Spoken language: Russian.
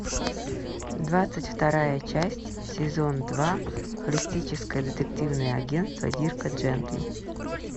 двадцать вторая часть сезон два холистическое детективное агентство дирка джентли